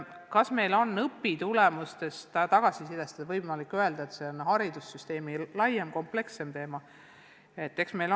Kas meil on õpitulemuste tagasiside põhjal võimalik öelda, et see on haridussüsteemi laiem, komplekssem teema?